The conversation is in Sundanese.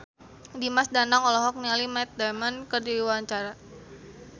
Dimas Danang olohok ningali Matt Damon keur diwawancara